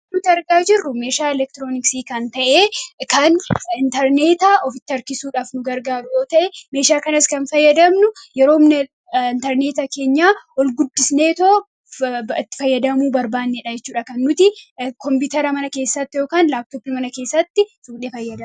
Wanti nuti argaa jirru meeshaa elektirooniksii kan ta'e kan intarneetaa ofitti harkisuudhaaf nu gargaaran ta'e meeshaa kanas kan fayyadamnu yeroomna intarneetaa keenyaa ol guddisnee itti fayyadamuu barbaannee yookiin kompiitara mana keessatti yookiin laaptooppii mana keessatti kan fayyaamuudha.